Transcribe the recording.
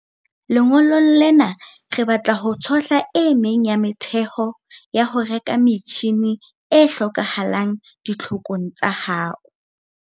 Lengolong lena re batla ho tshohla e meng ya metheho ya ho reka metjhine e hlokahalang ditlhokong tsa hao.